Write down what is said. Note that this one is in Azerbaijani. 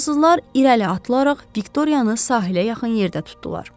Fransızlar irəli atılaraq Viktoriyanı sahilə yaxın yerdə tutdular.